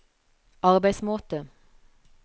arbeidsmåte